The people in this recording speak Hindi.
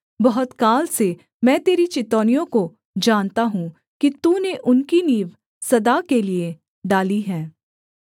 बहुत काल से मैं तेरी चितौनियों को जानता हूँ कि तूने उनकी नींव सदा के लिये डाली है